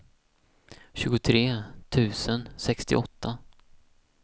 tjugotre tusen sextioåtta